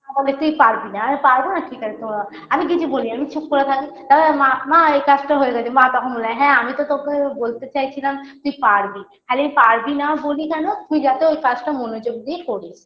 বলে তুই পারবি না আমি পারবো না ঠিক আছে তমা আমি কিছু বলি না আমি চুপ করে থাকি তারপর মা মা এই কাজটা হয়ে গেছে মা তখন বলে হ্যাঁ আমি তো তোকে বলতে চাইছিলাম তুই পারবি খালি পারবি না বলি কেন তুই যাতে ওই কাজটা মনোযোগ দিয়ে করিস